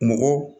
Mɔgɔ